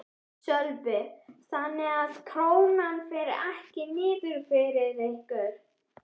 Sölvi: Þannig að Krónan fer ekki niður fyrir ykkur?